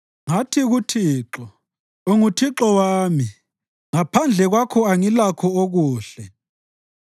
Ngathi kuThixo, “UnguThixo wami; ngaphandle kwakho angilakho okuhle.”